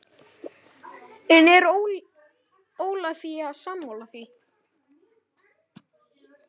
En er Ólafía sammála því?